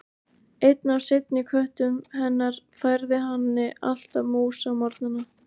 Einn af seinni köttum hennar færði henni alltaf mús á morgnana.